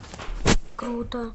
круто